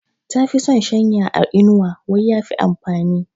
Ta fi son shanya a inuwa wai ya fi amfani.